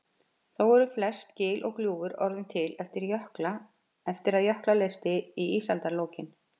Þó eru flest gil og gljúfur orðin til eftir að jökla leysti í ísaldarlokin.